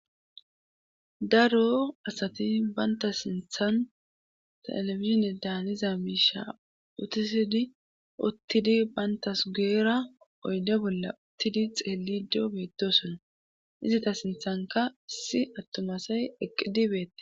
daro asati banta sinthan telefizine daaniza miisha utisidi uttidi bayntasugeera oyde bolla uttidi xeelido beetosona izita sinthanka si attumasay eqqidi beette